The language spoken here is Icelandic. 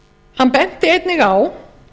hann benti einnig á